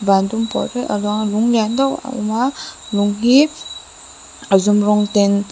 van dum pawl te a luang a lung lian deuh a awm a lung hi a zum rawng ten.